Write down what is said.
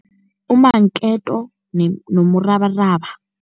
Umanketo nomrabaraba.